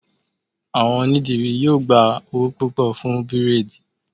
Àwọn onídìrí yóò gba owó púpọ̀ fún bírèèdì